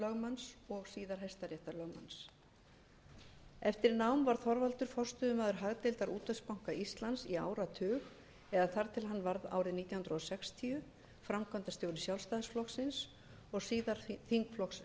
héraðsdómslögmanns og síðar hæstaréttarlögmanns eftir nám varð þorvaldur forstöðumaður hagdeildar útvegsbanka íslands í áratug eða þar til hann varð árið nítján hundruð sextíu framkvæmdastjóri sjálfstæðisflokksins og síðar þingflokks